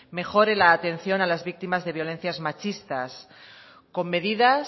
mejore la atención a las víctimas de violencias machistas con medidas